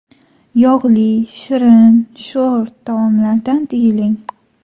Yog‘li, shirin, sho‘r taomlardan tiyiling.